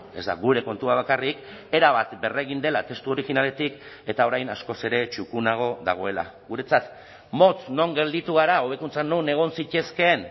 ez da gure kontua bakarrik erabat berregin dela testu originaletik eta orain askoz ere txukunago dagoela guretzat motz non gelditu gara hobekuntzak non egon zitezkeen